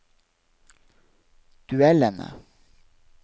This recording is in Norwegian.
duellene